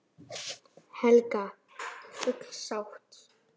Helga: Full sátt?